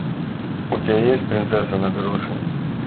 у тебя есть принцесса на горошине